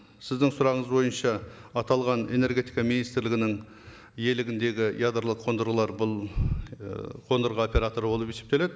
сіздің сұрағыңыз бойынша аталған энергетика министрлігінің иелігіндегі ядролық қондырғылар бұл ы қондырғы операторы болып есептеледі